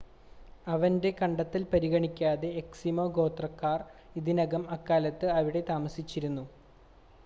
അവൻ്റെ കണ്ടെത്തൽ പരിഗണിക്കാതെ എസ്കിമോ ഗോത്രക്കാർ ഇതിനകം അക്കാലത്ത് അവിടെ താമസിച്ചിരുന്നു